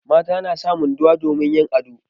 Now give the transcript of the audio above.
Mata na sa munduwa domin yin ado.